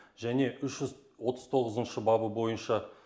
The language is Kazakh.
және үш жүз отыз тоғызыншы бабы бойынша